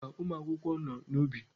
Mba, ụmụ akwụkwọ nọ n'ubi.